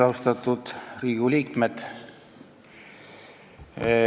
Austatud Riigikogu liikmed!